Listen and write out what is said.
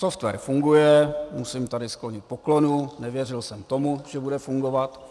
Software funguje, musím tady složit poklonu, nevěřil jsem tomu, že bude fungovat.